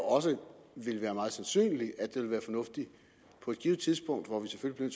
ville være meget sandsynligt at det ville være fornuftigt på et givent tidspunkt hvor vi selvfølgelig